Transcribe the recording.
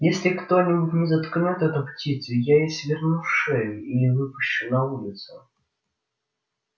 если кто-нибудь не заткнёт эту птицу я ей сверну шею или выпущу на улицу